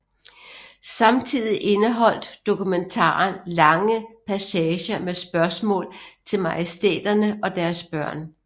Samtidig indeholdt dokumentaren lange passager med spørgsmål til majestæterne og deres børn